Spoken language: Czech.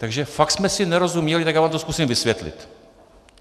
Takže fakt jsme si nerozuměli, tak já vám to zkusím vysvětlit.